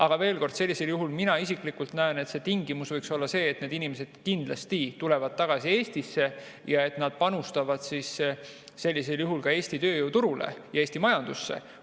Aga veel kord, sellisel juhul mina isiklikult näen, et tingimus võiks olla see, et need inimesed kindlasti tulevad tagasi Eestisse ja panustavad ka Eesti tööturule ja Eesti majandusse.